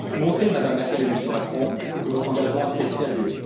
Montrez, Madame Merkel et Monsieur Macron, que votre engagement est sérieux.